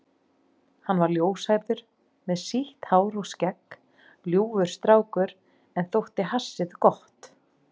Hann var ljóshærður með sítt hár og skegg, ljúfur strákur sem þótti hassið gott.